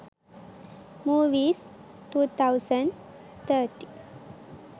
movies 2013